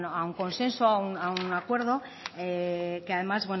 a un consenso a un acuerdo que además